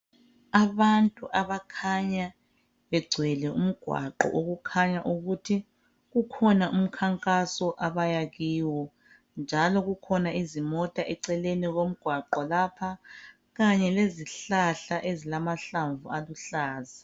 Abantu abakhanya begcwele umgwaqo okukhanya ukuthi kukhona umkhankaso abayakiwo njalo kukhona izimota eceleni komgwaqo lapha kanye lezihlahla ezilamahlamvu aluhlaza.